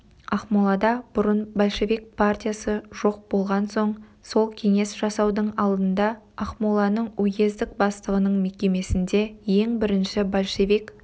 ақмолада бұрын большевик партиясы жоқ болған соң сол кеңес жасаудың алдында ақмоланың уездік бастығының мекемесінде ең бірінші большевик